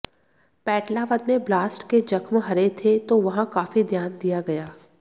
पेटलावद में ब्लास्ट के जख्म हरे थे तो वहां काफी ध्यान दिया गया